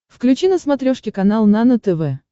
включи на смотрешке канал нано тв